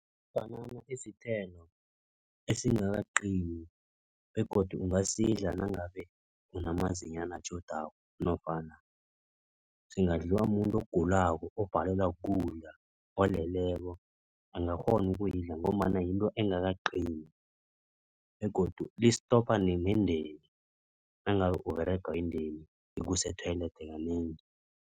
Ibhanana isithelo esingakaqini begodu ungasidla nangabe unamazinyana atjhodako nofana singadliwa mumuntu ogulako obhalelwa kukudla. Oleleko angakghona ukulidla ngombana yinto engakaqini begodu listopa nendeni. Nangabe Uberegwa yindeni ikusa e-toilet kanengi.